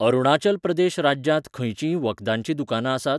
अरुणाचल प्रदेश राज्यांत खंयचींय वखदांचीं दुकानां आसात?